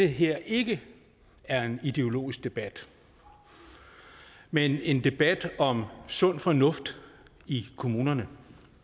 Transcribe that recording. her ikke er en ideologisk debat men en debat om sund fornuft i kommunerne